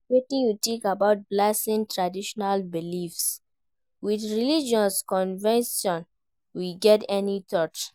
Wetin you think about balancing traditional beliefs with religious convictions, you get any thought?